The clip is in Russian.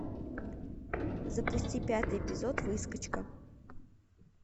запусти пятый эпизод выскочка